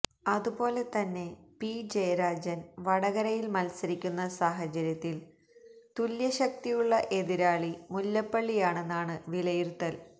അതുപോലെ തന്നെ പി ജയരാജന് വടകരയില് മത്സരിക്കുന്ന സാഹചര്യത്തില് തുല്യശക്തിയുള്ള എതിരാളി മുല്ലപ്പള്ളിയാണെന്നാണ് വിലയിരുത്തല്